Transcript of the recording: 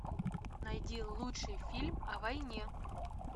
найди лучший фильм о войне